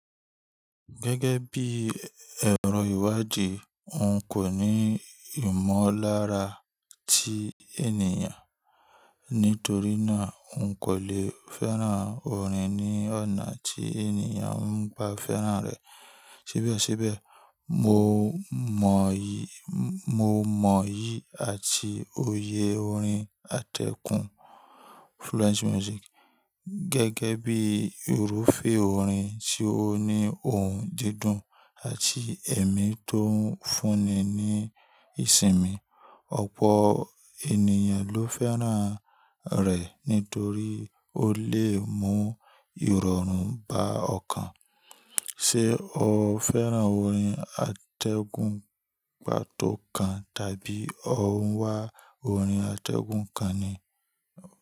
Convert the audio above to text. Gẹ́gẹ́ bí ẹ̀rọ ìwádìí, n kò ní ìmọ̀lára ti ènìyàn. Nítorí náà, n kò lè fẹ́ràn orin ní ọ̀nà tí ènìyàn ń gba fẹ́ràn rẹ̀. Ṣèbí ọ ṣébẹ̀, mo mọ̀ yìí àti òye orin atẹ́gùn. Gẹ́gẹ́ bí irúfẹ́ orin tí ó ní ohùn dídùn àti ẹ̀mí tó ń fúnni ní ìsinmi. Ọ̀pọ̀ ènìyàn ló fẹ́ràn rẹ̀ nítorí ó lè mú ìrọ̀rùn bá ọkàn. Ṣé o fẹ́ràn orin atẹ́gùn pàtó kan tàbí o ń wá orin atẹ́gùn kan ni?